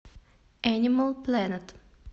энимал плэнет